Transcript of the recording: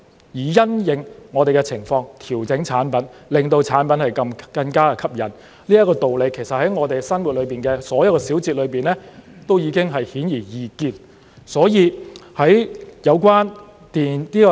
因應我們的情況調整產品，令產品更加吸引，這個道理在我們生活中的所有小節都已經顯而易見。